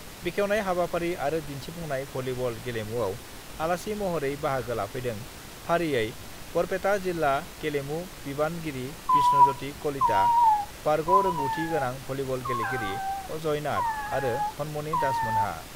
बेखेवनाय हाबाफारि आरो दिन्थिफुंनाय भलीबल गेलेमुयाव आलासि महरै बाहागो लाफैदों फारियै-बरपेटा जिल्ला गेलेमु बिबानगिरि बिष्णज्यति कलिता, बारग' रोंगौथि गोनां भलीबल गेलेगिरि अजय नाथ आरो धनमनी दासमोनहा।